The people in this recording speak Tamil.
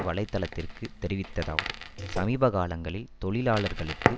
வலை தளத்திற்கு தெரிவித்ததாவது சமீப காலங்களில் தொழிலாளர்களுக்கு